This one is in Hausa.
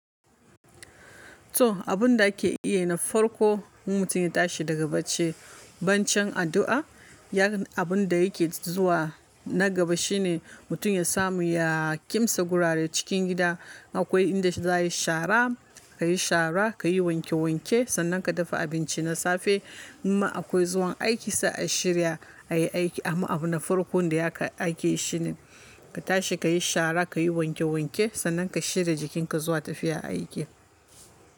To abun da ake iya na farko mutum ya tashi daga bacci, bancin addu'a, ya'an abun da yake zuwa na gaba shine mutum ya samu ya ƙimsa gurare cikin gida. Akwai inda za a yi shara, ka yi shara, ka yi wanke wanke, sannan ka dafa abinci na safe. In ma akwai zuwan aiki sai a shirya, a yi aiki. Amma abun na farkon da yake aiki shine ka tashi, ka yi shara, ka yi wanke wanke sannan ka shirya jikinka zuwa tafiya aiki.